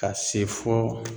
Ka se fo